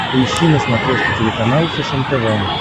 поищи на смотрешке телеканал фэшен тв